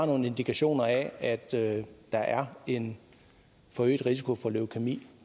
nogle indikationer af at at der er en forøget risiko for leukæmi